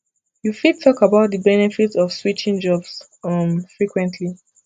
you fit talk about di benefits of switching jobs um frequently